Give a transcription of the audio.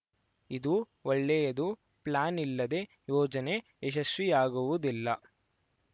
ಇದು ಒಳ್ಳೆಯದು ಪ್ಲಾನ್‌ ಇಲ್ಲದೆ ಯೋಜನೆ ಯಶಸ್ವಿಯಾಗುವುದಿಲ್ಲ